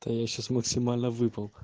да я сейчас максимально выпал